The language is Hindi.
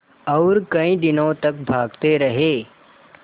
और कई दिनों तक भागते रहे